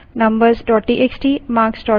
terminal पर जाएँ